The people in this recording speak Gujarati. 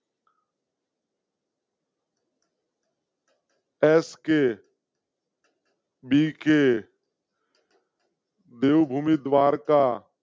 એસકે. બીકે . દેવ ભૂમિ દ્વારકા